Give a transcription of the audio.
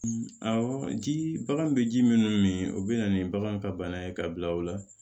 Awɔ jii bagan bɛ ji minnu min min o bɛ na ni bagan ka bana ye ka bila o la